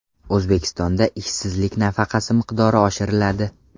O‘zbekistonda ishsizlik nafaqasi miqdori oshiriladi.